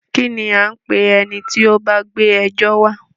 Kínní a ń pé ẹni tí o bá gbé ẹjọ́ wa?